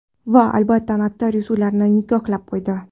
Va albatta notarius ularni nikohlab qo‘ydi.